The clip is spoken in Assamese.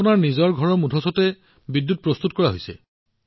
তেওঁলোকৰ নিজৰ ঘৰৰ চালত বিদ্যুৎ উৎপাদন কৰা হৈছে